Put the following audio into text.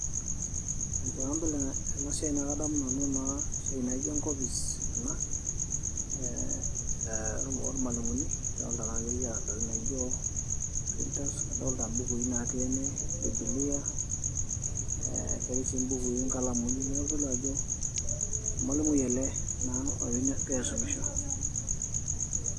ee tenadol ena siai naa kadamu nanu naa esiai naijo enkopis ena ee ormalimuni idolta naa ajo ekiata intokitin naijo printers, kadolta imbukui natii ene biblia ee ketii sii imbukui inkalamuni neeku kitodolu ajo ormalimui ele naa ogira aisumisho.